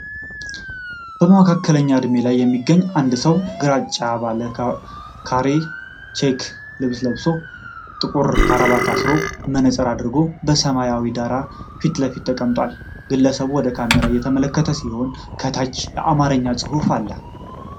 በመካከለኛ ዕድሜ ላይ የሚገኝ አንድ ሰው ግራጫማ ባለ ካሬ (ቼክ) ልብስ ለብሶ፣ ጥቁር ክራባት አሰሮ፣ መነፅር አድርጎ በሰማያዊ ዳራ ፊት ለፊት ተቀምጧል። ግለሰቡ ወደ ካሜራው እየተመለከተ ሲሆን ከታች በአማርኛ ጽሑፍ አለ።